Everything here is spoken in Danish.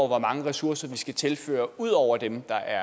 hvor mange ressourcer vi skal tilføre ud over dem der